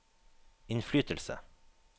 innflytelse